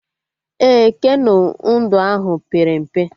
Ee, keno ndụ ahụ pere mpe